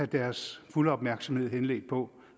deres fulde opmærksomhed henledt på